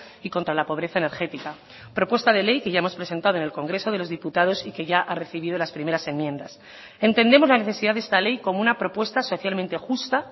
y contra la pobreza energética propuesta de ley que ya hemos presentado en el congreso de los diputados y que ya ha recibido las primeras enmiendas entendemos la necesidad de esta ley como una propuesta socialmente justa